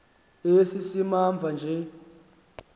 esi simamva nje